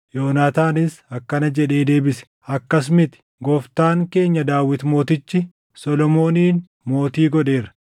Yonaataanis akkana jedhee deebise; “Akkas miti! Gooftaan keenya Daawit mootichi, Solomoonin mootii godheera.